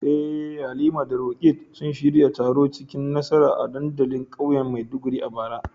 Eh Halima da Roqeeb sun shirya taro cikin nasara a dandalin kauyen Maiduguri a bara.